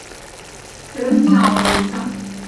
тырныауза